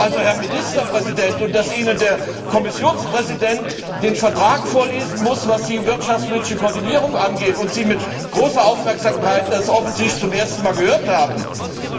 Also, Herr Ministerpräsident! Und dass Ihnen der Kommissionspräsident den Vertrag vorlesen muss, was die wirtschaftspolitische Koordinierung angeht, und Sie mit großer Aufmerksamkeit das offensichtlich zum ersten Mal gehört haben